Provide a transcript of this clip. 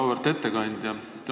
Auväärt ettekandja!